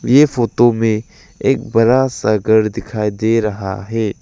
ये फोटो में एक बड़ा सा घर दिखाई दे रहा है।